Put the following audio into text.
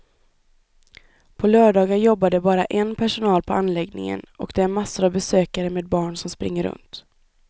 På lördagar jobbar det bara en personal på anläggningen och det är massor av besökare med barn som springer runt.